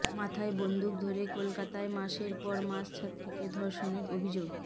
মাথায় বন্দুক ধরে কলকাতায় মাসের পর মাস ছাত্রীকে ধর্ষণের অভিযোগ